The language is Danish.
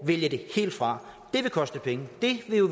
vælge det helt fra det vil koste penge det er jo